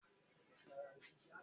Bẹ́ẹ̀ni, mo wà ní ilé ìwé gíga lọ́wọ́lọ́wọ́